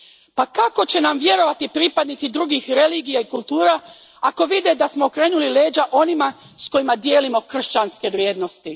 Pa kako će nam vjerovati pripadnici drugih religija i kultura ako vide da smo okrenuli leđa onima s kojima dijelimo kršćanske vrijednosti?